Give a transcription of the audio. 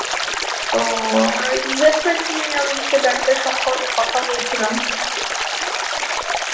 তো আমরা ওই investment নিয়ে ও দিনকে bank এর সম্পর্কে কথা বলছিলাম